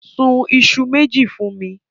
Sun iṣu méjì fún mi.